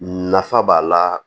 Nafa b'a la